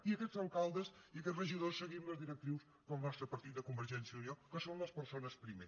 i aquests alcaldes i aquests regidors seguim les directrius del nostre partit de convergència i unió que són les persones primer